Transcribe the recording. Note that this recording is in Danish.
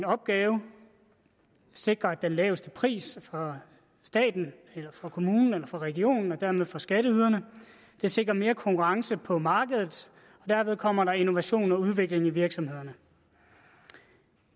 opgave sikrer den laveste pris for staten for kommunen eller for regionen og dermed for skatteyderne det sikrer mere konkurrence på markedet og derved kommer der innovation og udvikling i virksomhederne